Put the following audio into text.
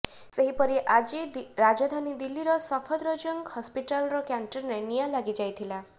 ସେହିପରି ଆଜି ରାଜଧାନୀ ଦିଲ୍ଲୀର ସଫଦରଜଙ୍ଗ ହସପିଟାଲର କ୍ୟାଣ୍ଟିନରେ ନିଆଁ ଲାଗିଯାଇଥିଲା